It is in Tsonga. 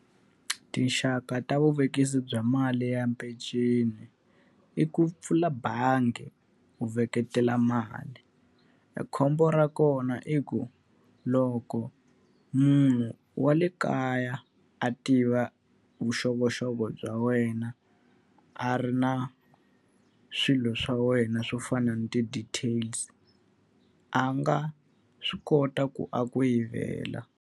Tinxaka ta vuvekisi bya mali ya mpenceni, i ku pfula bangi u veketela mali. Khombo ra kona i ku loko munhu wa le kaya a tiva vuxokoxoko bya wena, a ri na swilo swa wena swo fana na ti-details a nga swi kota ku a ku yivela.